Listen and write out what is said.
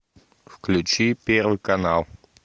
включи первый канал